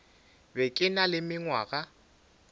be ke na le mengwaga